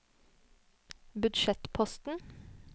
budsjettposten